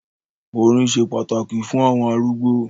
“orín” se pàtàkì fún àwọn arúgbó.